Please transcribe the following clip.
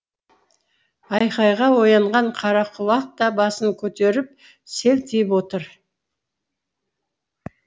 айқайға оянған қарақұлақ та басын көтеріп селтиіп отыр